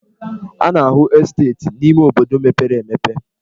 A na-ahụ esteeti n'ime obodo mepere emepe.